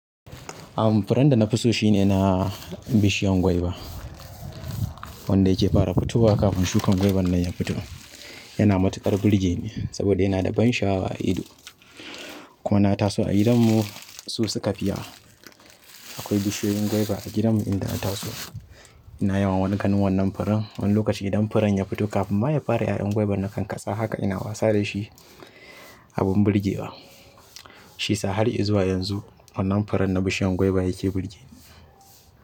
Am, furen da na fi so shi ne na bishiyan gwaiba. Wanda ya ke fara fitowa kafin shukan gwaiban nan ya fito. Yana matuƙar burge ni, saboda yana da ban sha'awa a ido kuma na taso a gidanmu su su ka fi yawa. Akwai bishiyoyin gwaiba a gidanmu inda na taso ina yawan ganin wannan furen wani lokaci idan furen ya fito kafin ma ya fara ƴaƴan gwaiban na kan katsa haka ina wasa da shi abin burgewa. Shi sa har izuwa yanzu wannan furen na bishiyan gwaiba ya ke burge ni.